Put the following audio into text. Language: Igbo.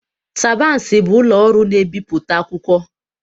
Tabansi bụ ụlọ ọrụ na ebipụta akwụkwọ.